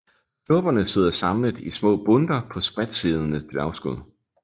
Knopperne sidder samlet i små bundter på spredtsiddende dværgskud